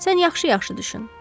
Sən yaxşı-yaxşı düşün.